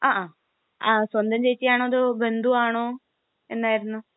ങാഹാ..സ്വന്തം ചേച്ചിയാണോ അതോ ബന്ധുവാണോ എന്നായിരുന്നു?